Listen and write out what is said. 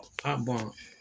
A